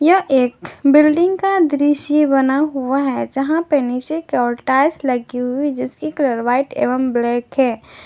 यह एक बिल्डिंग का दृश्य बना हुआ है जहां पे नीचे की ओर टाइल्स लगी हुई है जिसकी कलर व्हाइट एवं ब्लैक है।